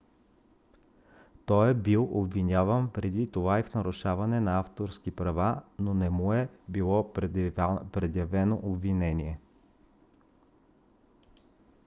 той е бил обвиняван преди това и в нарушаване на авторски права но не му е било предявено обвинение